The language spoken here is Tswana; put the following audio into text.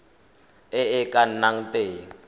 e e ka nnang teng